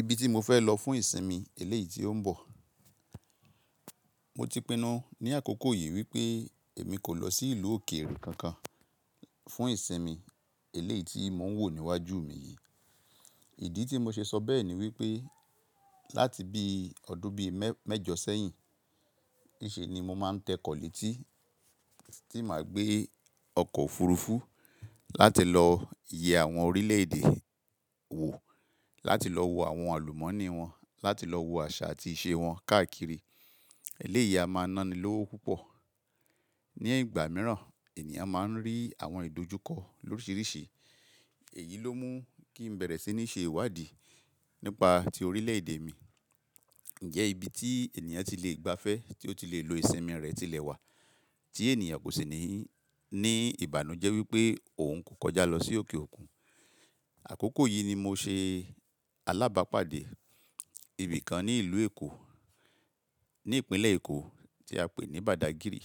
Ibi tí mo fẹ́ lọ fún ìsinmi eléyìí tí ó ń bọ̀. Mo ti pinnu ní àkókò yìí wípé èmi kò lọ sí ìlú òkèèrè kankan fún ìsinmi eléyìí tí mò ń wò níwájú mi yìí. Ìdí tí mo ṣe sọ bẹ́ẹ̀ ni wípé láti bí ọdún bí mẹ́jọ sẹ́yìn, nì ṣe ni mo máa ń tẹ kọ̀ lẹ́tì tí màá gbé ọkọ̀ òfurufú láti lọ yẹ àwọn orílẹ̀ èdè wò, láti lọ wo àwọn àlùmọ́nì wọn, láti lọ wo àṣà àti ìṣe wọn káàkiri. Eléyìí a máa ná ni lówó púpọ̀. Ní ìgbà mìíràn ènìyàn máa ń rí àwọn ìdojúkọ loríṣiríṣi. Èyí ló mú kí n bẹ̀rẹ̀ sí ní ṣe ìwádìí nípa ti orílẹ̀ èdè mi. Ǹjẹ́ ibi tí ènìyàn ti lè gbafẹ́, tí ó ti lè lo ìsinmi rẹ̀ tilẹ̀ wà tí ènìyàn kò sì ní, ní ìbànújẹ́ wípé òun kò kọjá lọ sí òkè òkun. Àkókò yìí ni mo ṣe alábàápàdé ibìkan ní ìlú Èkó, ní ìpínlẹ̀ Èkó tí a pè ní Badagìrì.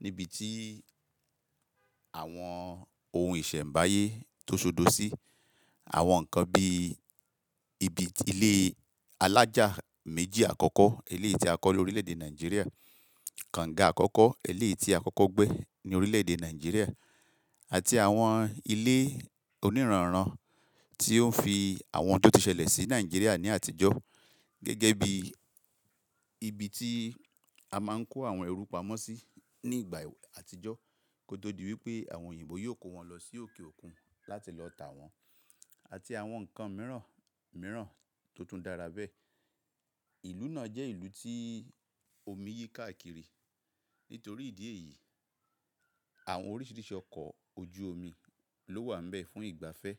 Níbi tí àwọn ohun ìṣẹ̀mbáyé tó ṣodo sí. Àwọn nǹkan bí ibi ilé alájà méjì àkọ́kọ́, eleyi tí a kọ́ ní orílẹ̀ èdè Nàìjíríà, kànga àkọ́kọ́, eléyi tí àkọ́kọ́ gbé ní orílẹ̀ èdè Nàìjíríà àti àwọn ilé onírànrán tí ó ń fi àwọn oun tó ti ṣẹlẹ̀ sí Nàìjíríà ní àtijọ́. Gẹ́gẹ́ bí ibi tí a máa ń kó àwọn ẹrú pamọ́ sí ní ìgbà àtijọ́ kó tó di wípé àwọn òyìnbó yóò kó wọn lọ sí òkè òkun láti lọ tà wọ́n àti àwọn nǹkan mìíràn, mìíràn tó tún dára bẹ́ẹ̀. Ìlú náà jẹ́ ìlú tí omi yí káàkiri. Nítorí ìdí èyí, àwọn oríṣiríṣi ọkọ̀ ojú omi ló wà níbẹ̀ fún ìgbafẹ́.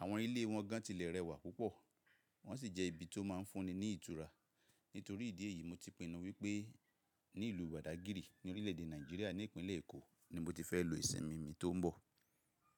Àwọn ilé wọn gan tilẹ̀ rẹwà púpọ̀. Wọ́n sì jẹ́ ibi tó máa ń fúnni ní ìtura. Nítorí ìdí èyí, mo ti pinnu wípé ní ìlú Badagìrì ní orílẹ̀ èdè Nàìjíríà ní ìpínlẹ̀ Èkó ni mo ti fẹ́ lo ìsinmi mi tó ń bọ̀.